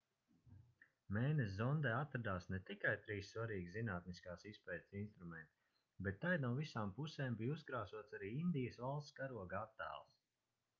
mēness zondē atradās ne tikai trīs svarīgi zinātniskās izpētes instrumenti bet tai no visām pusēm bija uzkrāsots arī indijas valsts karoga attēls